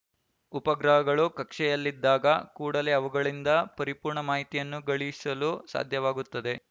ಉಪಗ್ರಹಗಳು ಕಕ್ಷೆಯಲ್ಲಿದ್ದಾಗ ಕೂಡಲೇ ಅವುಗಳಿಂದ ಪರಿಪೂರ್ಣ ಮಾಹಿತಿಯನ್ನು ಗಳಿಸಲು ಸಾಧ್ಯವಾಗುತ್ತದೆ